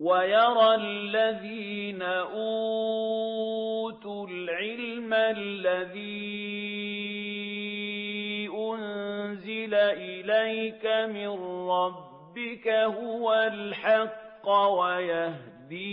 وَيَرَى الَّذِينَ أُوتُوا الْعِلْمَ الَّذِي أُنزِلَ إِلَيْكَ مِن رَّبِّكَ هُوَ الْحَقَّ وَيَهْدِي